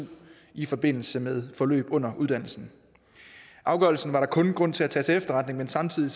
i forbindelse med forløb under uddannelsen afgørelsen var der kun grund til at tage til efterretning men samtidig